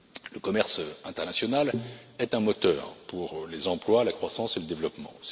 Le commerce international est un moteur pour les emplois, la croissance et le développement.